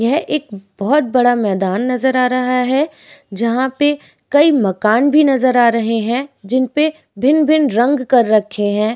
यह एक बहोत बड़ा मैदान नजर आ रहा है। जहाँ पे कई मकान भी नजर आ रहे हैं। जिन पे भिन्न-भिन्न रंग कर रखे हैं।